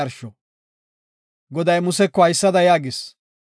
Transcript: Goday Museko haysada yaagis;